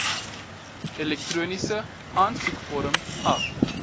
elektroniese aansoekvorm af